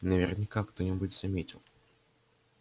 наверняка кто-нибудь заметил